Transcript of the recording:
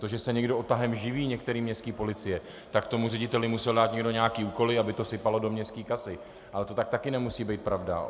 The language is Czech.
To, že se někdo odtahem živí, některé městské policie, tak tomu řediteli musel dát někdo nějaké úkoly, aby to sypalo do městské kasy, ale to tak také nemusí být pravda.